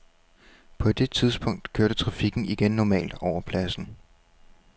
På det tidspunkt kørte trafikken igen normalt over pladsen.